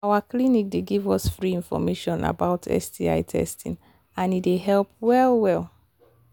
our clinic they give us free information about sti testing and e they help well well